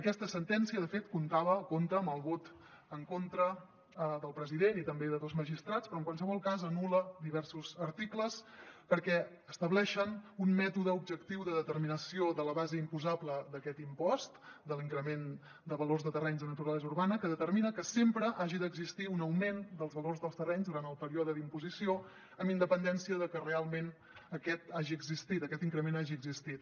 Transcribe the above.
aquesta sentència de fet comptava compta amb el vot en contra del president i també de dos magistrats però en qualsevol cas anul·la diversos articles perquè estableixen un mètode objectiu de determinació de la base imposable d’aquest impost de l’increment de valor de terrenys de naturalesa urbana que determina que sempre hagi d’existir un augment dels valors dels terrenys durant el període d’imposició amb independència de que realment aquest hagi existit aquest increment hagi existit